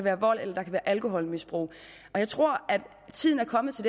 er vold eller alkoholmisbrug og jeg tror at tiden er kommet til